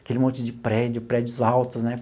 Aquele monte de prédio, prédios altos, né?